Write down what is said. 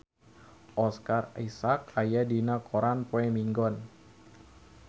Oscar Isaac aya dina koran poe Minggon